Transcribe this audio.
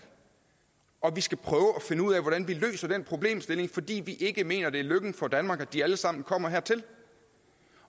og vi skal prøve at ud af hvordan vi løser den problemstilling fordi vi ikke mener det er lykken for danmark at de alle sammen kommer hertil